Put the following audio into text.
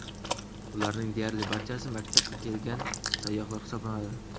Ularning deyarli barchasi mamlakatga kelgan sayyohlar hisoblanadi.